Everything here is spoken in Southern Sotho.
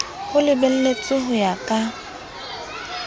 ho lebeletswe ho ya ka